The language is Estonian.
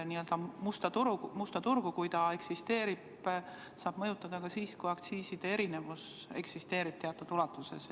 N-ö musta turgu, kui see on olemas, saab mõjutada ka siis, kui eksisteerib aktsiiside erinevus teatud ulatuses.